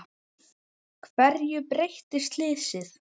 Hverju breytti slysið?